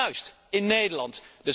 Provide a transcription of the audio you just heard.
Juist, in Nederland!